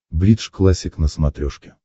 бридж классик на смотрешке